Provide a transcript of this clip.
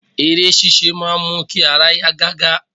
Eré sisé máa n mu ki ara ya gaga